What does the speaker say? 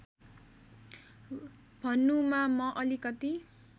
भन्नुमा म अलिकति